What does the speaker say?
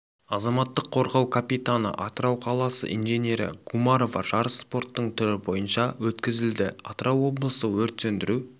азаматтық қорғау капитаны атырау қаласы инженері гумарова жарыс спорттың түрі бойынша өткізілді атырау облысы өрт сөндіру